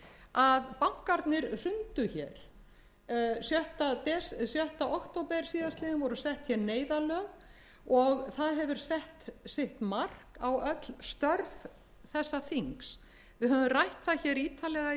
að bankarnir hrundu sjötta október s voru sett neyðarlög og það hefur sett sitt mark á öll störf þessa þings við höfum rætt ítarlega í